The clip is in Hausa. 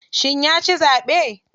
Shi yaci zaɓe.